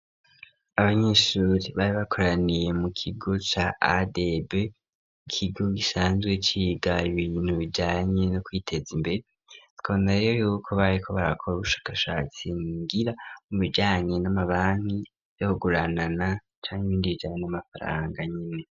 Abanyeshuri bari bakoraniye mu kigo cya AEB kigo gisanzwe ciga ibintu bijanye no kwiteza imbere twanareyo yuko bare ko barakora ubushakashatsi ngira mu bijyanye n'amabani yohuguranana candi bindi bijanye n'amafaranga nyine.